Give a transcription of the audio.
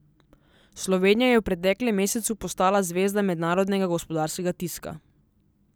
Slovenija je v preteklem mesecu postala zvezda mednarodnega gospodarskega tiska.